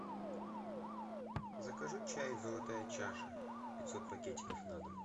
закажи чай золотая чаша пятьсот пакетиков на дом